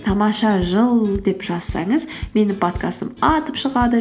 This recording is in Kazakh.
тамаша жыл деп жазсаңыз менің подкастым атып шығады